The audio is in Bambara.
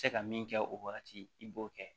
Tɛ se ka min kɛ o wagati i b'o kɛ